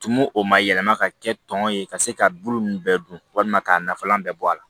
Tumu o ma yɛlɛma ka kɛ tɔn ye ka se ka bulu ninnu bɛɛ dun walima k'a nafalan bɛɛ bɔ a la